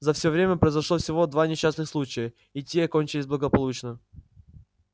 за все время произошло всего два несчастных случая и те окончились благополучно